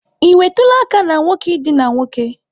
Ị nwetụla aka na nwoke idina nwoke?